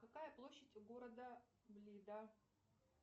какая площадь у города блида